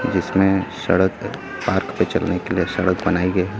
जिसमें सड़क है। पार्क पे चलने के लिए सड़क बनाई गयी।